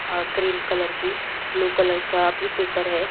cream colour की blue colour का भी पेपर है --